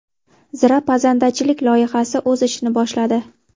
Zira pazandachilik loyihasi o‘z ishini boshladi.